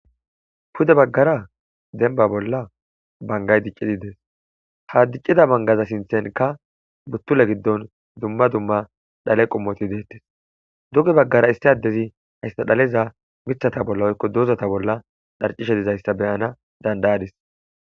Pudde baggara demba bolla bangayi diccidi dess. Ha diccida bangaza sinthanikka uttulla gidon dumma dumma dhalle qommothi dethess. Dugge baggara issi adezi hayssa dhaleza miththatha bolla woykko dozatha bolla dharcishe dizayssa ta beanas dandaadis.